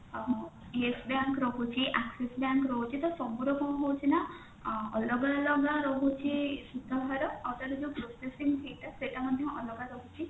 ଅ yes bank ରହୁଛି axis bank ରହୁଛି ତ ସବୁ ର କଣ ହଉଛି ନା ଅଲଗା ଅଲଗା ରହୁଛି ସୁଧହାର ଆଉ ତାର ଯୋଉ processing fee ଟା ସେଟା ମଧ୍ୟ ଅଲଗା ରହୁଛି